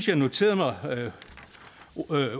jeg noterede mig